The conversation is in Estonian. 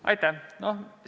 Aitäh!